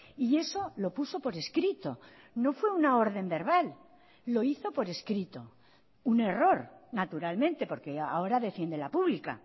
y eso lo puso por escrito no fue una orden verbal lo hizo por escrito un error naturalmente porque ahora defiende la pública